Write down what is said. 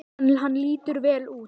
Hann lítur vel út